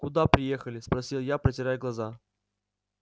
куда приехали спросил я протирая глаза